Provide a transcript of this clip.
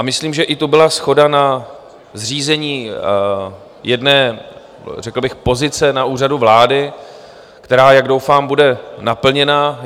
A myslím, že tu byla i shoda na zřízení jedné řekl bych pozice na úřadu vlády, která, jak doufám, bude naplněna.